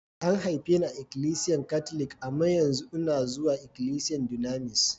A'n haife ni a'ikilisiyan katlic, amma yanzu una zuwa ikilisiyan Dunamis.